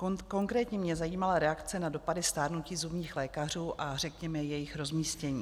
Konkrétně mě zajímala reakce na dopady stárnutí zubních lékařů a řekněme jejich rozmístění.